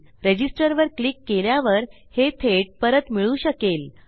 register वर click केल्यावर हे थेट परत मिळू शकेल